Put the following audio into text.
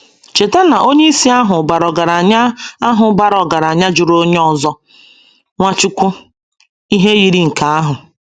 Cheta na onyeisi ahụ bara ọgaranya ahụ bara ọgaranya jụrụ onye ọzọ — Nwachukwu — ihe yiri nke ahụ.